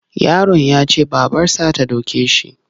Yaron ya ce babarsa ta doke shi.